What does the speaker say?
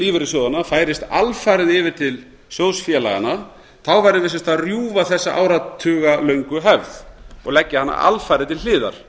lífeyrissjóðanna færist alfarið yfir til sjóðfélaganna værum við sem sagt að rjúfa þessa áratugalöngu hefð og leggja hana alfarið til hliðar